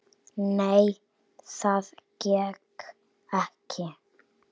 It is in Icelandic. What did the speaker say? Nei, það gekk ekki.